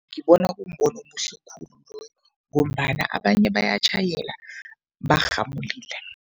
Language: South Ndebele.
Ngibona kumbono omuhle khulu loyo ngombana abanye bayatjhayela barhamulile.